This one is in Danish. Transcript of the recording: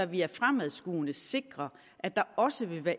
vi er fremadskuende og sikrer at der også vil være